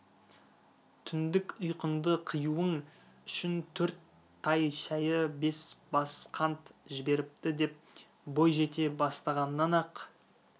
түндік ұйқыңды қиюың үшін төрт тай шәйі бес бас қант жіберіпті деп бой жете бастағаннан-ақ